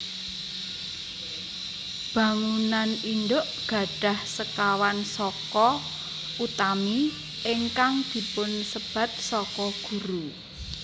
Bangunan indhuk gadhah sekawan saka utami ingkang dipunsebat saka guru